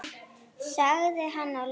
sagði hann að lokum.